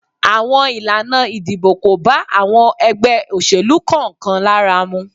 Àwọn Ilana ìdìbò ko ba àwọn ègbé òṣèlú kan kan lára mu